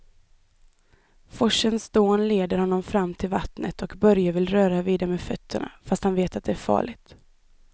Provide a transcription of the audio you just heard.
Forsens dån leder honom fram till vattnet och Börje vill röra vid det med fötterna, fast han vet att det är farligt.